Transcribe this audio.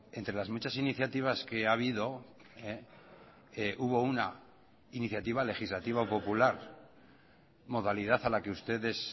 entre las muchas iniciativas que ha habido hubo una iniciativa legislativa popular modalidad a la que ustedes